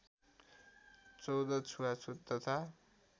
१४ छुवाछुत तथा